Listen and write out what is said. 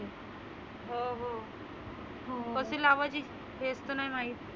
हो हो कशी लावायची हेच तर नाही माहीत.